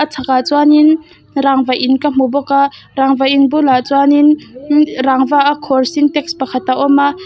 a chhakah chuanin rangva in ka hmu bawk a rangva in bulah chuanin inn rangva a khawr sintax pakhat a awm a.